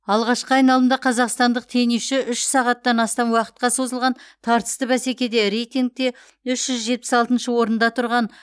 алғашқы айналымда қазақстандық теннисші үш сағаттан астам уақытқа созылған тартысты бәсекеде рейтингте үш жүз жетпіс алтыншы орында тұрған